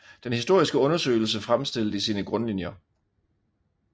Den Historiske Undersøgelse Fremstillet i Sine Grundlinier